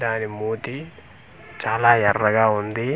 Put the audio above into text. దాని మూతి చాలా ఎర్రగా ఉంది.